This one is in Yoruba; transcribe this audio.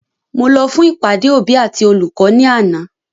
Mo lọ fún ìpàdé òbí àti olùkọ́ ni àná